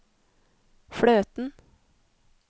fløten